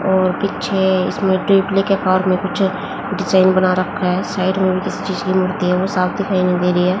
और पीछे इसमें टीटली फॉर्म मे कुछ डिजाइन बना रखा है साइड मे किसी चीज की मूर्ति है वो साफ़ दिखाई नहीं देरी है।